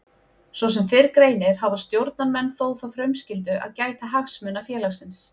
Svo sem fyrr greinir hafa stjórnarmenn þó þá frumskyldu að gæta hagsmuna félagsins.